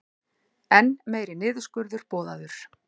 Enn meiri niðurskurður boðaður